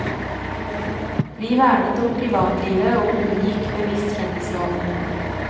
Vi vernet om privatlivet og unngikk bevisst kjendisrollen.